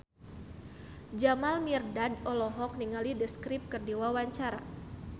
Jamal Mirdad olohok ningali The Script keur diwawancara